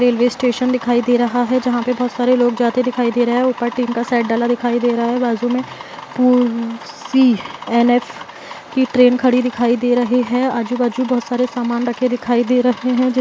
Railway station दिखाई दे रहा हैं जहां पे बहुत सारे लोग जाते दिखाई दे रहे हैं| ऊपर टीन का सेट डला दिखाई दे रहा हैं | बाजू में पियूसीएनएफ कि ट्रेन खड़ी दिखाई दे रही है | आजु-बाजु बहुत सारे सामान रखे दिखाई दे रहे हैं।